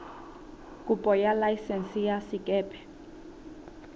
kopo ya laesense ya sekepe